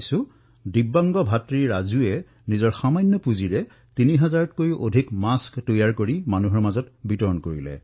দিব্যাংগ ভাতৃ ৰাজুৱে আনৰ সাহায্যৰ দ্বাৰা এপইচা দুপইচাকৈ গোটোৱা পুঁজিৰে তিনি হাজাৰতকৈও অধিক মাস্ক প্ৰস্তুত কৰি জনসাধাৰণৰ মাজত বিতৰণ কৰিছে